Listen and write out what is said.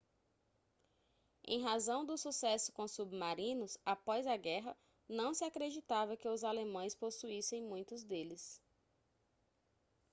em razão do sucesso com submarinos após a guerra não se acreditava que os alemães possuíssem muitos deles